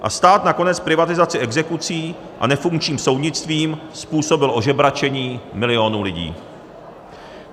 A stát nakonec privatizací, exekucí a nefunkčním soudnictvím způsobil ožebračení milionů lidí.